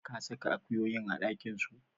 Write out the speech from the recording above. Ka saka akuyoyin a ɗakin su?